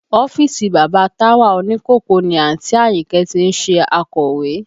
Ọ́fíìsì bàbá Táwà òní kòkó ni àǹtí Àyìnkẹ́ ti ń ṣe akọ̀wé